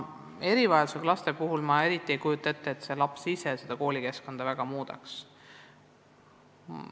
Erivajadustega laste puhul ma eriti ei kujuta ette, et koolikeskkond väga midagi muudaks.